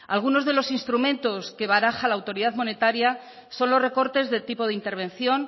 algunos de los instrumentos que baraja la autoridad monetaria son los recortes de tipo de intervención